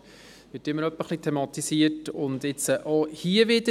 Das wird hin und wieder thematisiert und jetzt auch hier wieder.